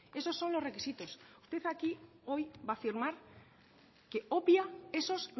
esos son los requisitos usted aquí hoy va a firmar que obvia esos